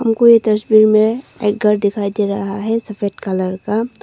को ये तस्वीर मे एक घर दिखाई दे रहा है सफेद कलर का।